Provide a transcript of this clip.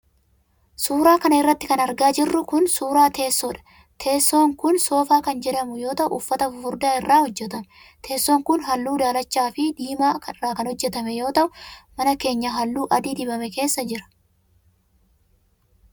Suura kana irratti kan argaa jirru kun, suura teessoodha. Teessoon kun soofaa kan jedhamu yoo ta'u, uffata fufurdaa irraa hojjatame. Teessoon kun haalluu daalacha fi diimaa irraa kan hojjatame yoo ta'u, mana keenyaa haalluu adii dibame keessa jira.